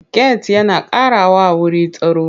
Get yana ƙarawa wuru tsaro.